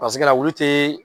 la olu tɛ.